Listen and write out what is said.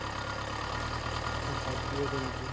ওটাই প্রিয় গেঞ্জি।